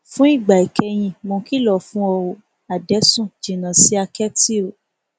fún ìgbà ìkẹyìn mò ń kìlọ fún o ò adẹsùn jìnnà sí àkẹtì o